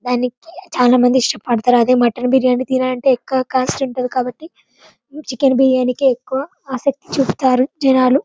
దానికి చాలా మంది ఇష్ట పడుతారు అదే మట్టన్ బిరియాని ఎక్కువ కాస్ట్ కాబట్టి చికెన్ బిరియాని కె ఎక్కువ ఆశ చూపిస్తారు జనాలు.